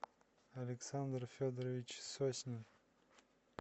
александр федорович соснин